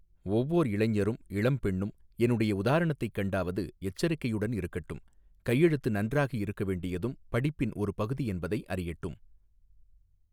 ஒவ்வொர் இளைஞரும் இளம்பெண்ணும் என்னுடைய உதாரணத்தைக் கண்டாவது எச்சரிக்கையுடன் இருக்கட்டும் கையெழுத்து நன்றாக இருக்க வேண்டியதும் படிப்பின் ஒரு பகுதி என்பதை அறியட்டும்.